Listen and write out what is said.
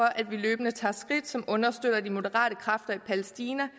at vi løbende tager skridt som understøtter de moderate kræfter i palæstina